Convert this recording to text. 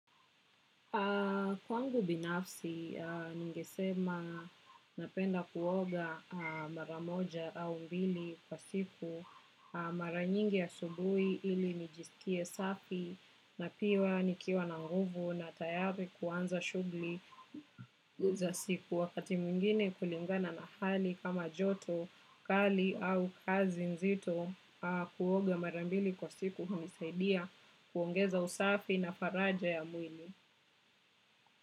Kwangu binafsi, ningesema napenda kuoga mara moja au mbili kwa siku. Mara nyingi asubuhi ili nijisikie safi na pia nikiwa na nguvu na tayari kuanza shughuli za siku. Wakati mwingine kulingana na hali kama joto kali au kazi nzito kuoga mara mbili kwa siku hunisaidia kuongeza usafi na faraja ya mwili.